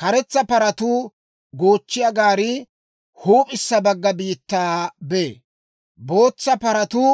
Karetsa paratuu goochchiyaa gaarii huup'issa bagga biittaa bee; bootsa paratuu